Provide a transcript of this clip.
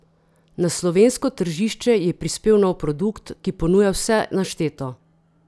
Na slovensko tržišče je prispel nov produkt, ki ponuja vse našteto!